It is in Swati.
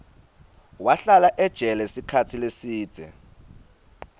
wahlala ejele sikhatsi lesidze